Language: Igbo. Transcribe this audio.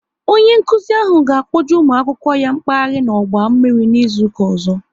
Onye nkụzi ahụ ga kpọje ụmụ akwụkwọ ya mkpaghari n'ọgba mmiri n'izuka ọzọ